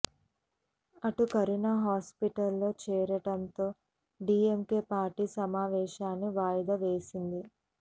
అటు కరుణ హాస్పిటల్ లో చేరటంతో డీఎంకే పార్టీ సమావేశాన్ని వాయిదా వేసింది